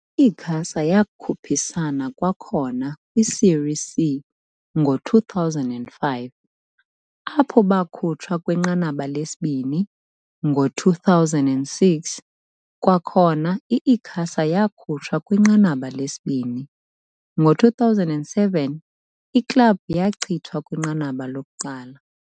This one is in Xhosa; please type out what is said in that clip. I-Icasa yakhuphisana kwakhona kwi-Série C ngo-2005, apho bakhutshwa kwinqanaba lesibini, ngo-2006, kwakhona i-Icasa yakhutshwa kwinqanaba lesibini, ngo-2007, iklabhu yachithwa kwinqanaba lokuqala.